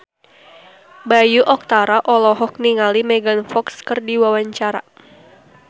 Bayu Octara olohok ningali Megan Fox keur diwawancara